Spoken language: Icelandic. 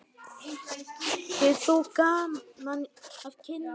Hefur þú gaman af kindum?